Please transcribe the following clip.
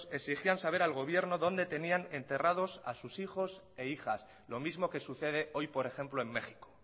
exigían saber al gobierno dónde tenían enterrados a sus hijos e hijas lo mismo que sucede hoy por ejemplo en méxico